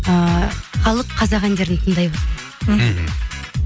ыыы халық қазақ әндерін тыңдайды мхм